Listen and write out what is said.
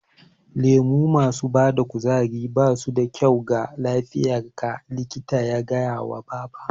Lemo masu bada kuzari basu da kyau ga lafiyar ka, likita ya gaya wa baba